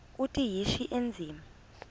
uthi yishi endiza